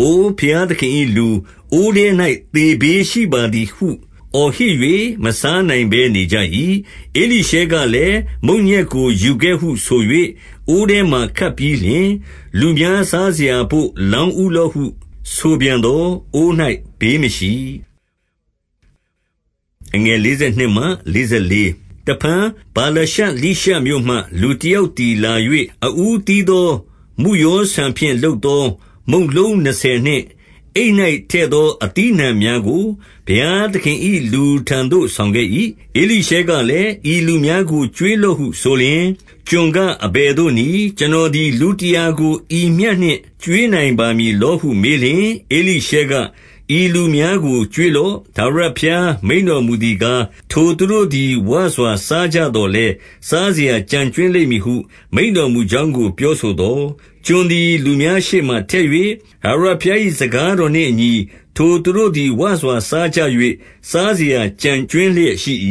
အိုဘုရားသခင်၏လူ၊ အိုးထဲ၌သေဘေးရှိပါသည်ဟု အော်ဟစ်၍ မစားနိုင်ဘဲ နေကြ၏။ 41 ဧလိရှဲကလည်း၊ မုန့်ညက်ကို ယူခဲ့ဟုဆို၍ အိုးထဲ မှာ ခတ်ပြီးလျှင်၊ လူများစားစရာဘို့လောင်းဦးလော့ဟု ဆိုပြန်သော်၊ အိုး၌ဘေးမရှိ။ 42 တဖန်ဗာလရှလိရှမြို့မှ လူတယောက်သည် လာ၍၊ အဦးသီးသော မုယောဆန်ဖြင့် လုပ်သော မုန့်လုံး နှစ်ဆယ်နှင့် အိတ်၌ထည့်သော အသီးအနှံများကို ဘုရား သခင်၏ လူထံသို့ ဆောင်ခဲ့၏။ ဧလိရှဲကလည်း၊ ဤလူများ ကို ကျွေးလော့ဟုဆိုလျှင်၊ 43 ကျွန်ကအဘယ်သို့နည်း။ ကျွန်တော်သည် လူတရာကို ဤမျှနှင့် ကျွေးနိုင်ပါမည်လောဟုမေးလျှင်၊ ဧလိရှဲက ဤလူများကို ကျွေးလော့။ ထာဝရဘုရား မိန့်တော်မူသည်ကား၊ ထိုသူတို့သည် ဝစွာ စားကြသော် လည်း စားစရာကျန်ကြွင်းလိမ့်မည်ဟု မိန့်တော်မူကြောင်း ကို ပြောဆိုသော်၊ 44 ကျွန်သည်လူများရှေ့မှာထည့်၍ ထာဝရဘုရား ၏ စကားတော်နှင့်အညီ ထိုသူတို့သည် ဝစွာစားကြ၍၊ စားစရာကျန်ကြွင်းလျက်ရှိ၏။